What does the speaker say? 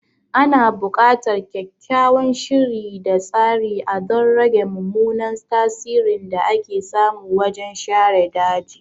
Ana bukatar kyakkyawan shiri da tsari a don rage mummunan tasirin da ake samu wajen share daji.